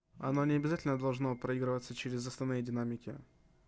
оно не обязательно должно проигрываться через основные динамики